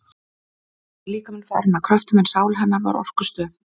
Þá var líkaminn farinn að kröftum, en sál hennar var orkustöð.